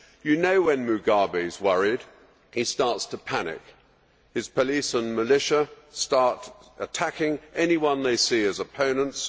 You know when Mugabe is worried he starts to panic. His police and militia start attacking anyone they see as opponents.